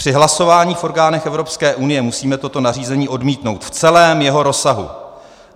Při hlasování v orgánech Evropské unie musíme toto nařízení odmítnout v celém jeho rozsahu.